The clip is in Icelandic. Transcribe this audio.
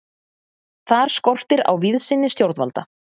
Þar skortir á víðsýni stjórnvalda.